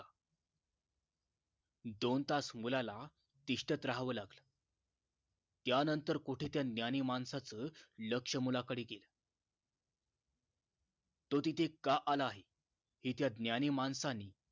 दोन तास मुलाला तिष्ठत राहावं लागलं त्यांतर कोठे त्या ज्ञानी माणसाचं लक्ष मुलाकडे गेल तो तिथे का आला आहे हे त्या ज्ञानी माणसाने